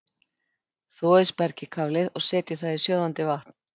Þvoið spergilkálið og setjið það í sjóðandi vatn.